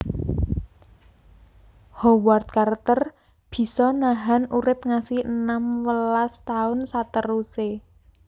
Howard Carter bisa nahan urip ngasi enam welas taun seteruse